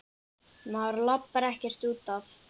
Maður labbar ekkert út af.